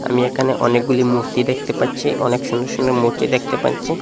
আমি এখানে অনেকগুলি মূর্তি দেখতে পাচ্ছি অনেক সুন্দর সুন্দর মূর্তি দেখতে পাচ্ছি।